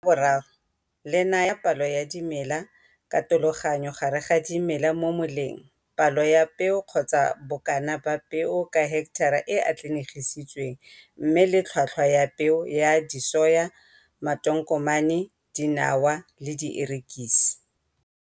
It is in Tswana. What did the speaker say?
La 3 le naya palo ya dimela, katologanyo gare ga dimela mo moleng, palo ya peo kgotsa bokana ba peo ka heketara e e atlanegiswang mme le tlhotlhwa ya peo ya disoya, matonkomane dinawa, le dierekisi.